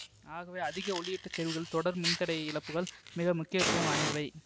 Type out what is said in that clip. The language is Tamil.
ஆகவே அதிக ஒளியூட்டச் செறிவுகளில் தொடர் மின் தடை இழப்புகள் மிக முக்கியத்துவம் வாய்ந்தவை